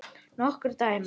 Nokkur dæmi.